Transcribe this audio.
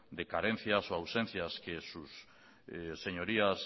de carencias o ausencias que sus señorías